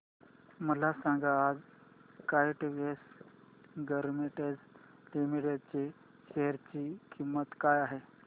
मला सांगा आज काइटेक्स गारमेंट्स लिमिटेड च्या शेअर ची किंमत काय आहे